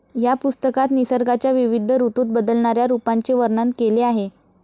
या पुस्तकात निसर्गाच्या विविध ऋतूत बदलणाऱ्या रूपांचे वर्णन केले आहे